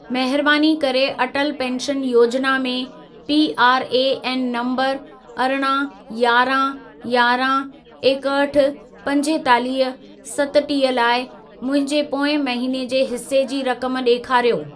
महिरबानी करे अटल पेंशन योजना में पीआरएएन नंबर अरिड़हं, यारहं, यारहं, एकहठि, पंजेतालीह, सतटीह लाइ मुंहिंजे पोएं महिने जे हिसे जी रक़म ॾेखारियो।